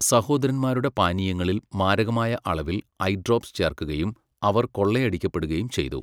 സഹോദരന്മാരുടെ പാനീയങ്ങളിൽ മാരകമായ അളവിൽ ഐ ഡ്രോപ്പ്സ് ചേർക്കുകയും അവർ കൊള്ളയടിക്കപ്പെടുകയും ചെയ്തു.